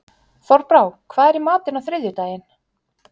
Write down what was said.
Þorbrá, hvað er í matinn á þriðjudaginn?